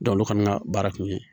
olu fana ka baara kun ye